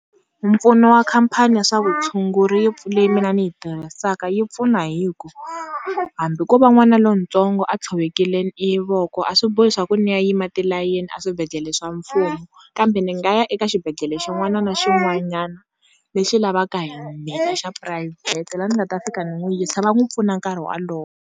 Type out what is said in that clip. Mpfuno wa khampani ya swa vutshunguri mina ni yi tirhisaka yi pfuna hi ku hambi ko va n'wana lontsongo a tshovekile e voko a swi bohi swa ku ni ya yima tilayeni a swibedhlele swa mfumo kambe ni nga ya eka xibedhlele xin'wana na xin'wanyana lexi lavaka hi mina xa phurayivhete laha ni nga ta fika ni n'wi yisa va n'wi pfuna nkarhi wolowo.